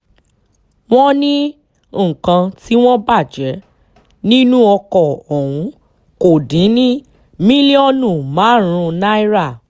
wọ́n ní nǹkan tí wọ́n bàjẹ́ nínú ọkọ̀ ọ̀hún kò dín ní mílíọ̀nù márùn-ún náírà